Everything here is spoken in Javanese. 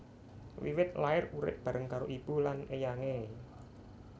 Wiwit lair urip bareng karo ibu lan éyangé